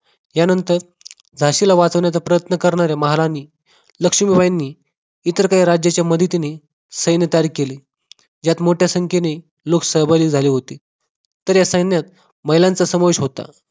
यानंतर झाशीला वाचवणाऱ्या प्रयत्न करणाऱ्या महाराणी लक्ष्मीबाईंनी इतर काही राज्याच्या मदतीने सैन्य तारीख केले यात मोठ्या संख्येने लोक सभागी झाले होते तर या सैन्यात महिलांचा समावेश होता